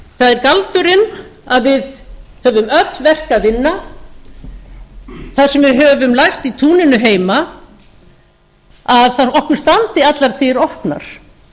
það er galdurinn að við höfum öll verk að vinna þar sem við höfum lært í túninu heima að okkur standi allar dyr opnar